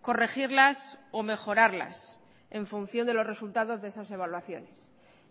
corregirlas o mejorarlas en función de los resultados de esas evaluaciones